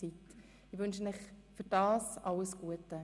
Dafür wünsche ich euch alles Gute.